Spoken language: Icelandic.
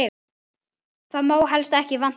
Það má helst ekki vanta.